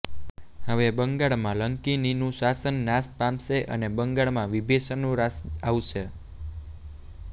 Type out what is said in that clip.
હવે બંગાળમાં લંકિનીનું શાસન નાશ પામશે અને બંગાળમાં વિભિષણનું રાજ આવશે